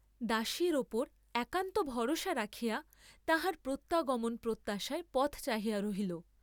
দাসীর উপর একান্ত ভরসা রাখিয়া তাহার প্রত্যাগমন প্রত্যাশায় পথ চাহিয়া রহিল।